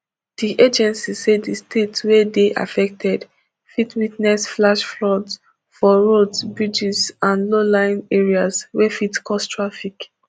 di agency say di state wey dey affected fit witness flash floods for roads bridges and lowlying areas wey fit cause traffic